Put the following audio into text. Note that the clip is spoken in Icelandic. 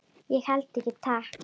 Ég held ekki, takk.